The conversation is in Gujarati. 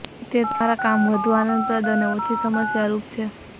તે તમારા કામ વધુ આનંદપ્રદ અને ઓછી સમસ્યારૂપ છે